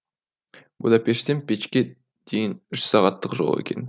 будапештен печке дейін үш сағаттық жол екен